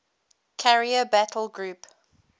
carrier battle group